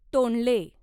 तोंडले